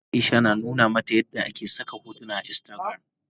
Aisha na nuna mata yadda ake saka hotuna a instagram.